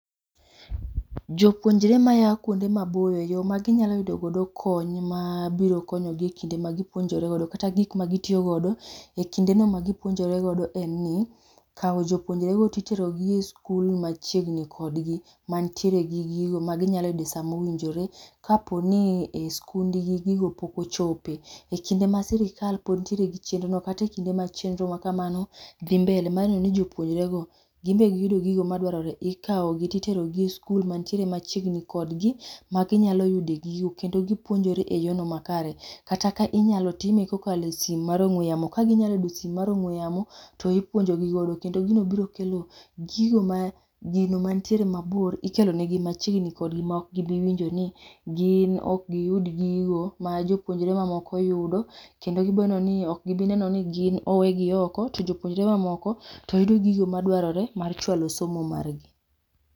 Jopunjre maya kuonde maboyo, yo ma ginyalo yudo godo kony ma biro konyo gi e kinde magipunjore godo, kata gik magitiyo godo e kinde no ma gipuonjore godo en ni, kao jopuonjorego to iterogi e skul mani machiegni kodgi, mantiere gi gigo. Maginyalo yude sama owinjore. Ka poni e skundgi gigo pok ochope, e kinde ma sirkal pod ntiere gi chenro no, kata e kinde ma chenro ma kamano dhi mbele ni jopuonjorego gin be giyudo gigo madwarore. Ikawogi to iterogi e skul mantirere machiegni kodgi, maginyalo yude gigo. Kendo gipuonjore e yor no makare. Kata ka inyalo time ka okale simo mar ong'we yamo, kaginyalo yudo simo mar ong'we yamo to ipuonjo gi godo. Kendo gino biro kelo gigo ma, gino ma nitiere mabor, ikelonegi machiegni kodgi, ma ok gibiwinjo ni gin okgiyud gigo ma jopunjore ma moko yudo. Kendo gibroneno ni, ok gi bi neno ni gin owegi oko, jopunjore ma moko to yudo gigo madwarore mar chwalo somo margi.